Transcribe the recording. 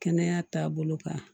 Kɛnɛya taabolo kan